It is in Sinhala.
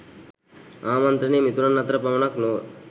ආමන්ත්‍රණය මිතුරන් අතර පමණක් නොව